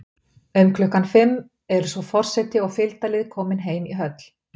Um klukkan fimm eru svo forseti og fylgdarlið komin heim í höll.